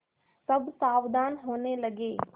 सब सावधान होने लगे